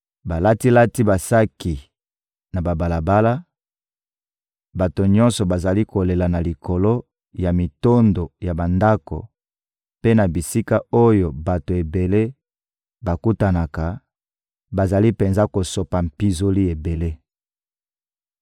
Balati-lati basaki na babalabala, bato nyonso bazali kolela na likolo ya mitondo ya bandako mpe na bisika oyo bato ebele bakutanaka; bazali penza kosopa mpinzoli ebele.